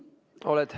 Oled.